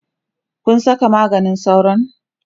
Kun Saka maganin sauron?